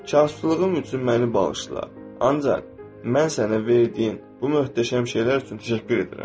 Çaşqınlığım üçün məni bağışla, ancaq mən sənə verdiyin bu möhtəşəm şeylər üçün təşəkkür edirəm.